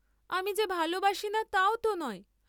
আমি যে ভালবাসিনা তাও ত নয়।